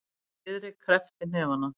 Friðrik kreppti hnefana.